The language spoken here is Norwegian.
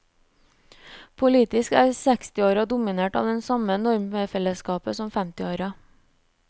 Politisk er sekstiåra dominert av det samme normfellesskapet som femtiåra.